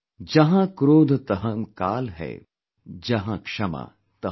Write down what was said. जहांक्रोधतहंकालहै, जहांक्षमातहंआप